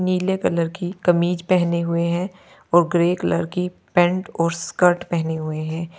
नीले कलर की कमीज पहने हुए हैं और ग्रे कलर की पैंट और स्कर्ट पहने हुए है।